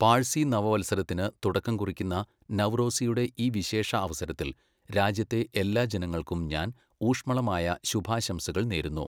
പാഴ്സി നവവത്സരത്തിന് തുടക്കം കുറിയ്ക്കുന്ന നവ്റോസിയുടെ ഈ വിശേഷ അവസരത്തിൽ രാജ്യത്തെ എല്ലാ ജനങ്ങൾക്കും ഞാൻ ഊഷ്മളമായ ശുഭാശംസകൾ നേരുന്നു.